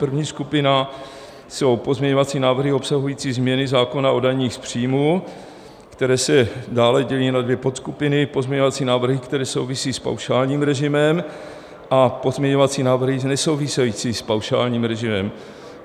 První skupina jsou pozměňovací návrhy obsahující změny zákona o daních z příjmů, které se dále dělí na dvě podskupiny: pozměňovací návrhy, které souvisí s paušálním režimem, a pozměňovací návrhy nesouvisející s paušálním režimem.